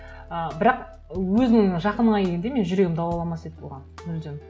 ы бірақ өзіңнің жақыныңа келгенде менің жүрегім дауала алмас еді оған мүлдем